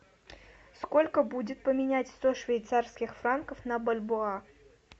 сколько будет поменять сто швейцарских франков на бальбоа